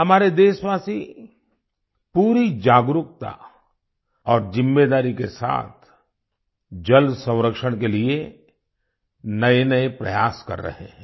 हमारे देशवासी पूरी जागरूकता और जिम्मेदारी के साथ जल संरक्षण के लिए नएनए प्रयास कर रहे हैं